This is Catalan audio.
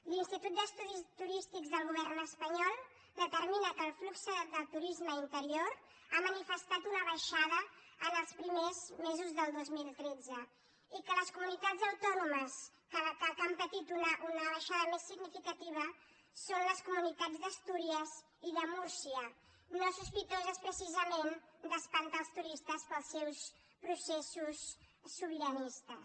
l’institut d’estudis turístics del govern espanyol determina que el flux del turisme interior ha manifestat una baixada en els primers mesos del dos mil tretze i que les comunitats autònomes que han patit una baixada més significativa són les comunitats d’astúries i de múrcia no sospitoses precisament d’espantar els turistes pels seus processos sobiranistes